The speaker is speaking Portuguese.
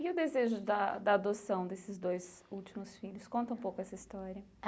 E o desejo da da adoção desses dois últimos filhos, conta um pouco essa história.